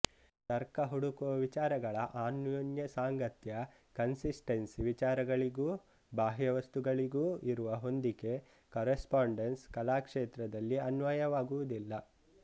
ತರ್ಕ ಹುಡುಕುವ ವಿಚಾರಗಳ ಅನ್ಯೋನ್ಯ ಸಾಂಗತ್ಯ ಕನ್ಸಿಸ್ಟೆನ್ಸಿ ವಿಚಾರಗಳಿಗೂ ಬಾಹ್ಯವಸ್ತುಗಳಿಗೂ ಇರುವ ಹೊಂದಿಕೆ ಕರೆಸ್ಪಾಂಡೆನ್ಸ್ ಕಲಾಕ್ಷೇತ್ರದಲ್ಲಿ ಅನ್ವಯವಾಗುವುದಿಲ್ಲ